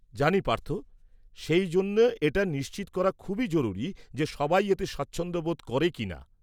-জানি পার্থ, সেইজন্যে এটা নিশ্চিত করা খুবই জরুরী যে সবাই এতে স্বাচ্ছন্দ্য বোধ করে কিনা।